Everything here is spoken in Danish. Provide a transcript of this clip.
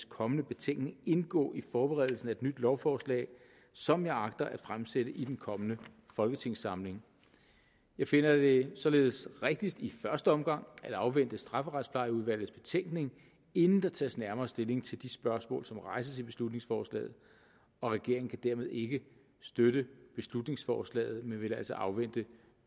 kommende betænkning indgå i forberedelsen af et nyt lovforslag som jeg agter at fremsætte i den kommende folketingssamling jeg finder det således rigtigst i første omgang at afvente strafferetsplejeudvalgets betænkning inden der tages nærmere stilling til de spørgsmål som rejses i beslutningsforslaget og regeringen kan dermed ikke støtte beslutningsforslaget men vil altså afvente